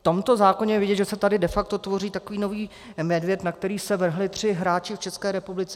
Na tomto zákoně je vidět, že se tady de facto tvoří takový nový medvěd, na kterého se vrhli tři hráči v České republice.